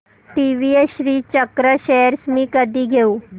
TVS Srichakra shares मी कधी घेऊ